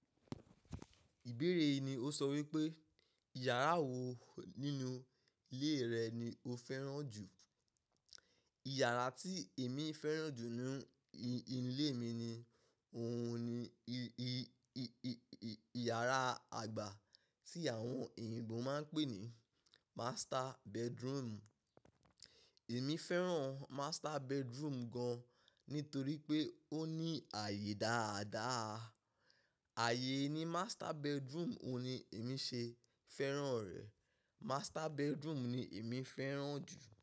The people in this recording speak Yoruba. Ìbéèrè yi ni ò sọ wípé, "ìyàrá wò nínú ilé rẹ ni o fẹ́ràn jù?" Ìyàrá tí èmi fẹ́ràn jù n nu, í-inú ilé mi ni òun ni i-i-i-i-i-ìyàrá àgbà tí àwọn eyìnbó máa n pè ní master bedroom. Èmi fẹ́ràn master bedroom gan-an nítorí pé ó ní ààyè dáadáa. Ààyè ni master bedroom òun ni èmi ṣe fẹ́ràn rẹ̀. Master bedroom ni èmi fẹ́ràn jù.